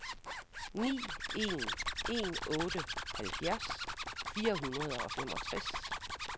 ni en en otte halvfjerds fire hundrede og femogtres